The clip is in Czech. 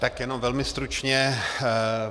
Tak jen velmi stručně.